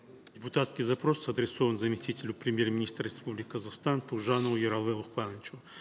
депутатский запрос адресован заместителю премьер министра республики казахстан тугжанову ералы лукпановичу